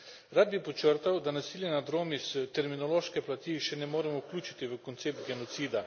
Rad bi podčrtal, da nasilja nad Romi s terminološke plati še ne moremo vključiti v koncept genocida.